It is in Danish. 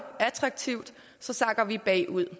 attraktivt så sakker vi bagud